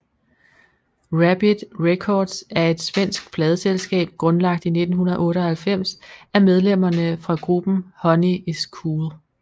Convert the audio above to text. Rabid Records er et svensk pladeselskab grundlagt i 1998 af medlemmerne fra gruppen Honey Is Cool